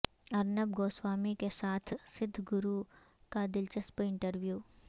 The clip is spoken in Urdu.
ارنب گوسوامی کے ساتھ سدھ گرو کا دلچسپ انٹرویو